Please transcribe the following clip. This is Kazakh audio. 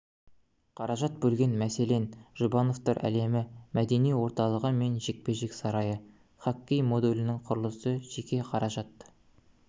қаражат бөлген мәселен жұбановтар әлемі мәдени орталығы мен жекпе-жек сарайы хоккей модулінің құрылысы жеке қаражат